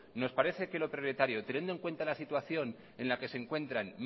nos parece que lo prioritario teniendo en cuenta la situación en la que se encuentra